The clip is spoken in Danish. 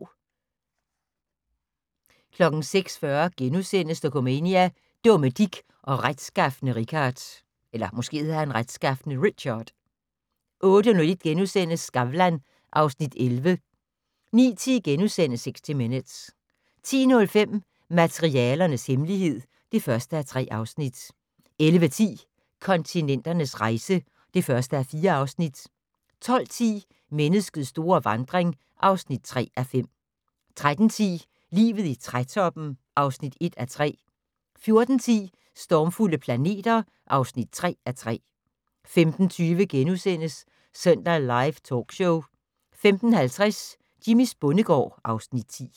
06:40: Dokumania: Dumme Dick og retskafne Richard * 08:01: Skavlan (Afs. 11)* 09:10: 60 Minutes * 10:05: Materialernes hemmelighed (1:3) 11:10: Kontinenternes rejse (1:4) 12:10: Menneskets store vandring (3:5) 13:10: Livet i trætoppen (1:3) 14:10: Stormfulde planeter (3:3) 15:20: Søndag Live Talkshow * 15:50: Jimmys bondegård (Afs. 10)